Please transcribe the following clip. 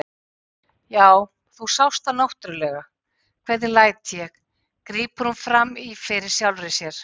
Já, þú sást það náttúrlega, hvernig læt ég, grípur hún fram í fyrir sjálfri sér.